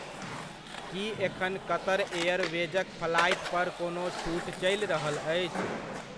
की एखन क़तर एयरवेजक फ्लाइट पर कोनो छूट चलि रहल अछि?